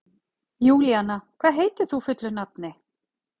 Júlíanna, hvað heitir þú fullu nafni?